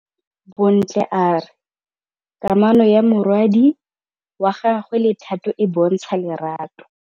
Bontle a re kamanô ya morwadi wa gagwe le Thato e bontsha lerato.